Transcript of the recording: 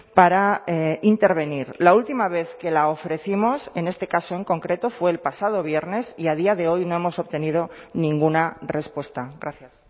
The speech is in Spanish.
para intervenir la última vez que la ofrecimos en este caso en concreto fue el pasado viernes y a día de hoy no hemos obtenido ninguna respuesta gracias